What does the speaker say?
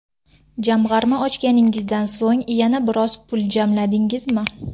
Jamg‘arma ochganingizdan so‘ng yana biroz pul jamladingizmi?